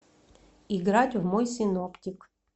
играть в мой синоптик